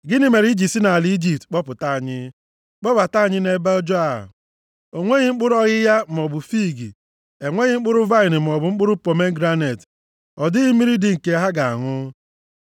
Gịnị mere i ji si nʼala Ijipt kpọpụta anyị, kpọbata anyị nʼebe ọjọọ a? O nweghị mkpụrụ ọghịgha maọbụ fiig, enweghị mkpụrụ vaịnị maọbụ mkpụrụ pomegranet. Ọ dịghị mmiri dị nke ha ga-aṅụ.”